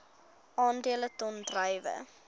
aandele ton druiwe